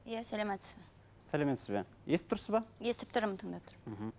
иә саламатсыз ба сәлеметсіз бе естіп тұрсыз ба естіп тұрмын тыңдап тұрмын мхм